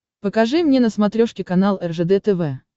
покажи мне на смотрешке канал ржд тв